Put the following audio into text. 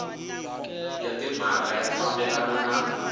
ya timhaka ya fambelana na